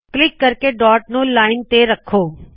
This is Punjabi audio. ਕਲਿੱਕ ਕਰਕੇ ਡਾੱਟ ਨੂ ਲਾਇਨ ਤੇ ਰੱਖੋ